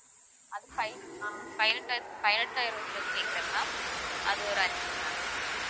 அது ப~ பதினெட்டாயிரம் பதினெட்டாயிரம் உள்ளது கேட்கிறேன் ma'am அதுல ஒரு அஞ்சு ma'am